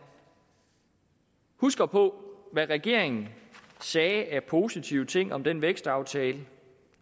huske på hvad regeringen sagde af positive ting om den vækstaftale